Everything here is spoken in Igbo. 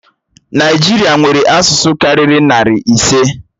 Naijiria nwere asụsụ karịrị narị ise.